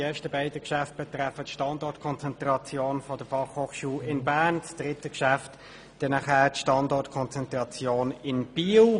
die ersten beiden betreffen die Standortkonzentration der BFH in Bern, das dritte die Standortkonzentration in Biel.